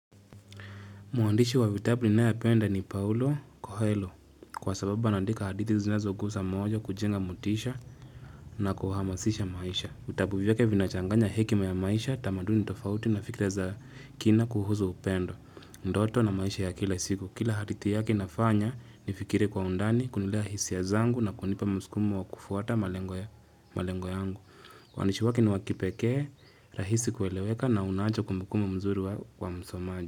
Mwandishi wa vitabu ninayempenda ni Paulo Kohelo kwa sababu anaandika hadithi zinazo gusa moyo kujenga motisha na kuhamasisha maisha. Vitabu vyake vinachanganya hekima ya maisha tamaduni tofauti na fikira za kina kuhuzu upendo. Ndoto na maisha ya kila siku. Kila hadithi yake inafanya nifikirie kwa undani, kunilea hisia zangu na kunipa msukumo wa kufuata malengo yangu. Waandishi wake ni wa kipekee, rahisi kueleweka na unacho kumbukumbu mzuri wa msomaji.